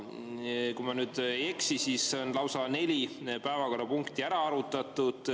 Kui ma nüüd ei eksi, siis on lausa neli päevakorrapunkti ära arutatud.